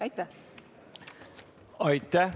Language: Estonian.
Aitäh!